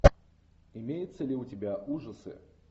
имеется ли у тебя ужасы